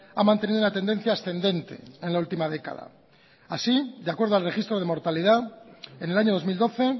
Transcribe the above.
ha mantenido una tendencia ascendente en la última década así de acuerdo al registro de mortalidad en el año dos mil doce